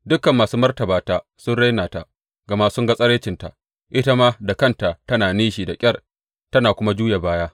Dukan masu martaba ta sun raina ta, gama sun ga tsiraicinta; ita ma da kanta tana nishi da ƙyar ta kuma juya baya.